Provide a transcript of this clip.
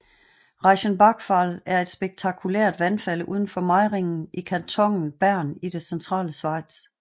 Reichenbachfall er et spektakulært vandfald udenfor Meiringen i kantonen Bern i det centrale Schweiz